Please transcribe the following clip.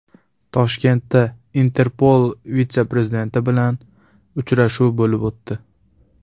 Toshkentda Interpol vitse-prezidenti bilan uchrashuv bo‘lib o‘tdi.